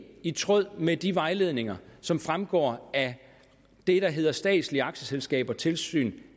i tråd med de vejledninger som fremgår af det der hedder statslige aktieselskaber tilsyn